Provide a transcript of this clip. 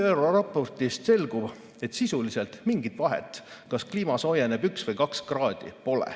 ÜRO raportist selgub, et sisuliselt pole mingit vahet, kas kliima soojeneb üks või kaks kraadi.